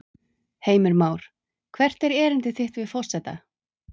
Heimir Már: Hvert er erindi þitt við forseta?